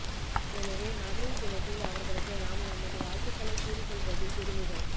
எனவே மகளிர் தினத்தில் அவர்களுக்கு நாம் நமது வாழ்த்துகளைக் கூறிக்கொள்வதில் பெருமிதம்